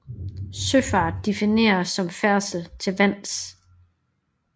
Søfart defineres som færdsel til vands